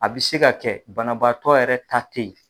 A bɛ se ka kɛ banabaatɔ yɛrɛ ta ten yen.